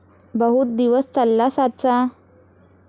बहुत दिवस चालला साचा ।